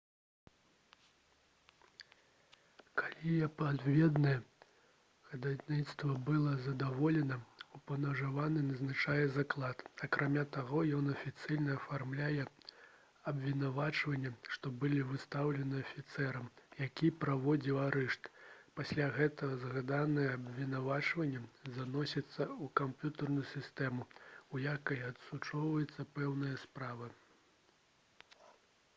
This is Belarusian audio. калі адпаведнае хадайніцтва было задаволена упаўнаважаны назначае заклад акрамя таго ён афіцыйна афармляе абвінавачванні што былі выстаўлены афіцэрам які праводзіў арышт пасля гэтага згаданыя абвінавачванні заносяцца ў камп'ютэрную сістэму у якой адсочваецца пэўная справа